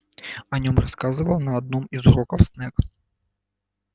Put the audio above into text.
о нём рассказывал на одном из уроков снегг